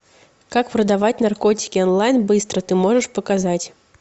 как продавать наркотики онлайн быстро ты можешь показать